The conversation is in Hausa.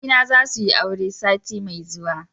yayyena za su yi aure sati mai zuwa